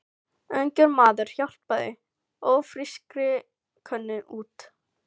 Ungur maður hjálpaði ófrískri konu út.